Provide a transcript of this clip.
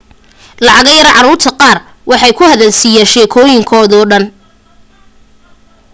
lacago yar caruurta qaar way ka hadal siyaan shekoyin koda dhan